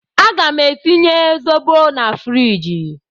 Aga m etinye zobo na friji.